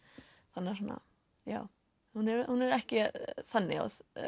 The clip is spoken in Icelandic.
þannig að já hún er ekki þannig